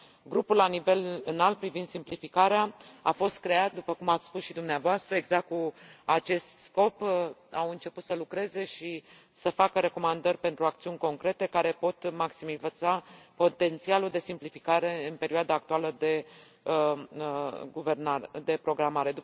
Grupul la nivel înalt privind simplificarea a fost creat, după cum ați spus și dumneavoastră, exact cu acest scop, a început să lucreze și să facă recomandări pentru acțiuni concrete care pot maximiza potențialul de simplificare în perioada actuală de programare.